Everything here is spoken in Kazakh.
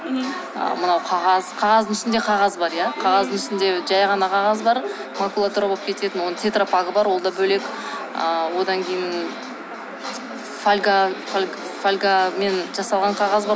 мынау қағаз қағаздың ішінде қағаз бар иә қағаздың ішінде жай ғана қағаз бар макулатура болып кететін оның тетропагы бар ол да бөлек ы одан кейін фольга фольгамен жасалған қағаз бар